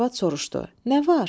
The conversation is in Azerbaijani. Arvad soruşdu: Nə var?